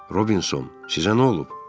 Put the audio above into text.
Robinson, sizə nə olub?